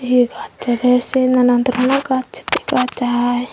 hi battede se nanan doronor gaz dega jai.